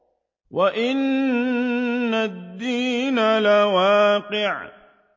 وَإِنَّ الدِّينَ لَوَاقِعٌ